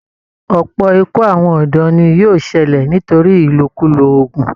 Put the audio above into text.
Ọ̀pọ̀ ikú àwọn ọ̀dọ́ ni yóò ṣẹlẹ̀ nítorí ìlòkulò oògùn